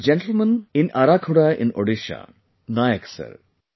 There is a gentleman in Arakhuda in Odisha Nayak Sir